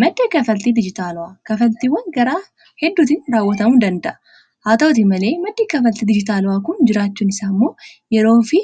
maddii kafaltii dijitaaleaa kafaltiiwwan karaa hedduutiin raawwatamuu danda'a haa ta'utii malee maddii kafaltii dijitaala'aa kun jiraachuun isaa ammoo yeroo fi